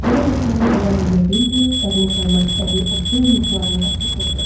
Belə də səhərə qədər uyuya bilmir, yadına salmaq istədiyi o söz yuxularını qaçırdırdı.